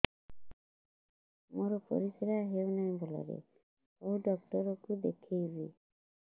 ମୋର ପରିଶ୍ରା ହଉନାହିଁ ଭଲରେ କୋଉ ଡକ୍ଟର କୁ ଦେଖେଇବି